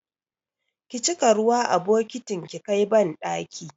Ki cika ruwa a bokitin ki kai banɗaki!